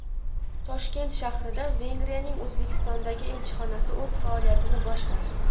Toshkent shahrida Vengriyaning O‘zbekistondagi elchixonasi o‘z faoliyatini boshladi .